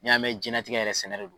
N'i y'a mɛn jɛnlatigɛ yɛrɛ sɛnɛ de don.